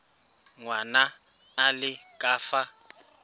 ngwana a le ka fa